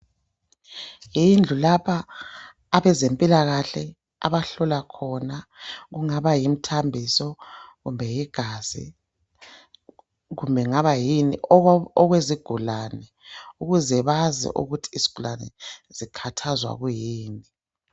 Yindlu lapha abezempilakahle abahlola khona kungaba yimthambiso kumbe yigazi kumbe kungaba yini okwezigulane ukuze bazi ukuthi izigulane zikhathazwa yikuyini.